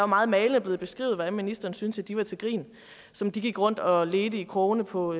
meget malende blevet beskrevet hvordan ministeren synes de var til grin som de gik rundt og ledte i krogene på